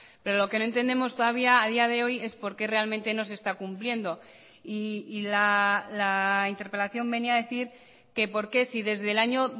pero lo que no entendemos todavía a día de hoy es por qué realmente no se está cumpliendo y la interpelación venía a decir que por qué si desde el año